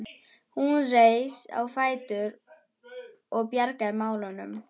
Hún reis á fætur og bjargaði málunum.